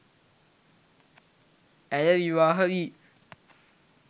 ඇය විවාහ වී